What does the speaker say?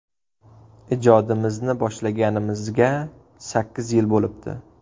Ijodimizni boshlaganimizga sakkiz yil bo‘libdi.